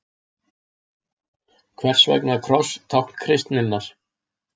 Hvers vegna er kross tákn kristninnar?